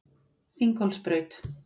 Þinghólsbraut